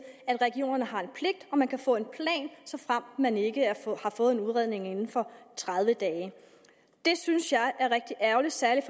at regionerne har en pligt og at man kan få en plan såfremt man ikke har fået en udredning inden for tredive dage det synes jeg er rigtig ærgerligt særligt